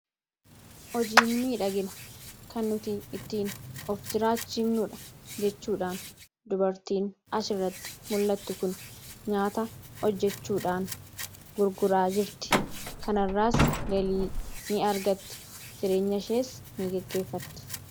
Hojiin miidhaagina kan nuti ittiin of jiraachiimnuudha jechuudhaan. dubartiin asii irratti mul'attu kun nyaata hojjechuudhaan gurguraa jirti kanarraas galii ni argatti jireenya ishees ni geggeeffatti.